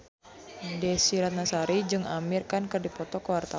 Desy Ratnasari jeung Amir Khan keur dipoto ku wartawan